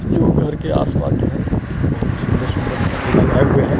जो घर के आसपास जो है बहुत ही सुंदर- सुंदर पौधे लगाए हुए हैं।